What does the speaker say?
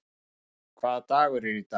Röskva, hvaða dagur er í dag?